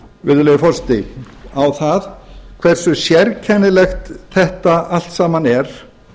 virðulegur forseti á það hversu sérkennilegt þetta allt saman er